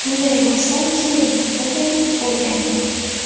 Unday bo‘lsa, keling, o‘qing, o‘rganing!